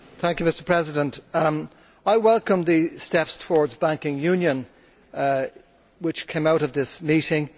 Mr President, I welcome the steps towards banking union which came out of this meeting.